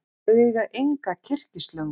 Þau eiga enga kyrkislöngu.